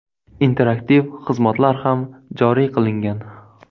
Interaktiv xizmatlar ham joriy qilingan.